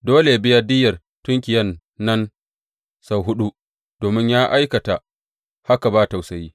Dole yă biya diyyar tunkiyan nan sau huɗu, domin ya aikata haka ba tausayi.